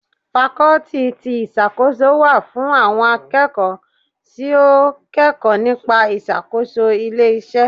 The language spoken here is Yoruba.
Fakọ́tì ti ìṣàkóso wà fún àwọn akẹ́kọ̀ọ́ tí ó kẹkọ̀ọ́ nípa ìṣàkóso ilé iṣẹ́.